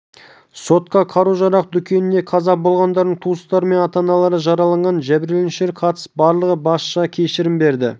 сотқа қару-жарақ дүкенінде қаза болғандардың туыстары мен ата-аналары жараланған жәбірленушілер қатысып барлығы басшыға кешірім берді